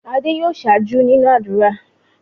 Adé yòó ṣáájú nínú ádùrá.